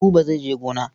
Buba zai je gona.